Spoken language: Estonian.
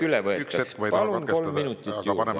Ma ei taha katkestada, paneme kolm minutit lisaaega juurde.